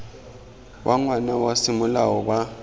wa ngwana wa semolao ba